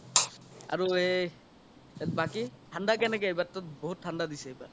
আৰু এই বাকি থান্দা কেনেকে এইবাৰতো বহুত থান্দা দিছি এইবাৰ